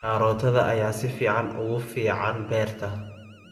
Karootada ayaa si fiican ugu fiican beerta.